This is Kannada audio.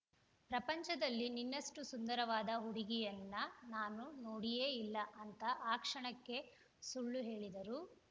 ಪ್ರಪಂಚದಲ್ಲಿ ನಿನ್ನಷ್ಟು ಸುಂದರವಾದ ಹುಡುಗಿಯನ್ನ ನಾನು ನೋಡಿಯೇ ಇಲ್ಲ ಅಂತ ಆ ಕ್ಷಣಕ್ಕೆ ಸುಳ್ಳು ಹೇಳಿದರೂ